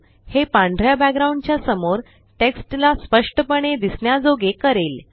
हे पांढऱ्या बॅकग्राउंड च्या समोर टेक्स्ट ला स्पष्टपणे दिसण्याजोगे करेल